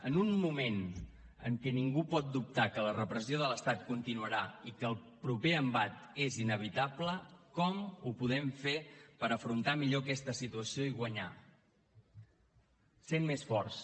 en un moment en què ningú pot dubtar que la repressió de l’estat continuarà i que el proper embat és inevitable com ho podem fer per afrontar millor aquesta situació i guanyar sent més forts